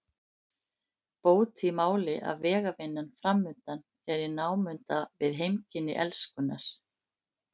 Bót í máli að vegavinnan framundan er í námunda við heimkynni Elskunnar.